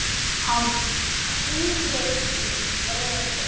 Hann hvíli í friði.